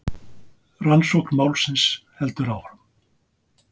Rannsókn málsins heldur áfram